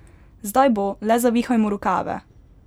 Zdaj bo, le zavihajmo rokave!